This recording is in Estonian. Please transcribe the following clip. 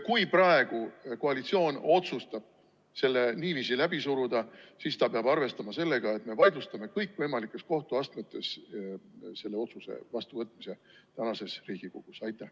Kui praegu koalitsioon otsustab selle niiviisi läbi suruda, siis ta peab arvestama, et me vaidlustame selle otsuse vastuvõtmise kõigis kohtuastmetes.